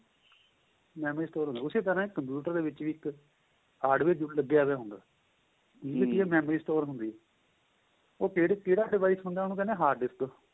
memory store ਹੁੰਦੀ ਏ ਉਸੇ ਤਰ੍ਹਾਂ computer ਦੇ ਵਿੱਚ ਇੱਕ hardware ਜਰੂਰ ਲੱਗਿਆ ਹੁੰਦਾ memory store ਹੁੰਦੀ ਏ ਉਹ ਕਿਹੜਾ device ਹੁੰਦਾ ਉਹਨੂੰ ਕਹਿੰਦੇ ਏ hard-disk